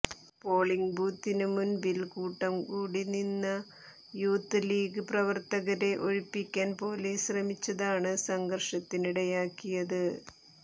polling ബൂത്തിന് മുൻപിൽ കൂട്ടം കൂടി നിന്ന യൂത്ത് ലീഗ് പ്രവർത്തകരെ ഒഴിപ്പിക്കാൻ പൊലീസ് ശ്രമിച്ചതാണ് സംഘർഷത്തിനിടയാക്കിയത്